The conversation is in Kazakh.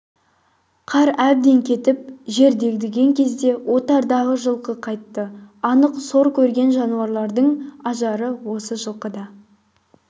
қар әбден кетіп жер дегдіген кезде отардағы жылқы қайтты анық сор көрген жануарлардың ажары осы жылқыда